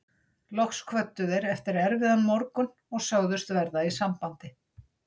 Loks kvöddu þeir eftir erfiðan morgun og sögðust verða í sambandi.